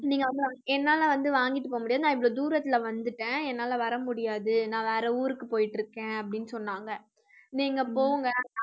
நீங்க என்னால வந்து வாங்கிட்டு போக முடியாது. நான் இவ்ளோ தூரத்துல வந்துட்டேன். என்னால வர முடியாது நான் வேற ஊருக்கு போயிட்டு இருக்கேன் அப்படின்னு சொன்னாங்க நீங்க போங்க